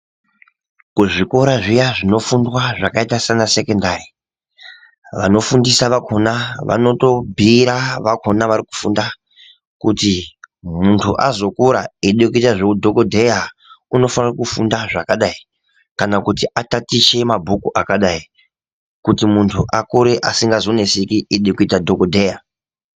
Kuzvikora zviya zvinofundwa zvakaita saana sekendari vanofundiswa vakona vanotobhuyira vakona vari kufunda kuti muntu azokura weyide kuita zvewudhokodheya unofane kufunda zvakadai kana kuti atatiche mabhuku akadai kuti muntu akure asingazonetseki eyida kuita dhokodheya